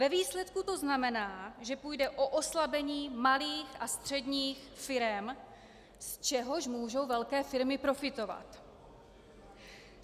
Ve výsledku to znamená, že půjde o oslabení malých a středních firem, z čehož můžou velké firmy profitovat.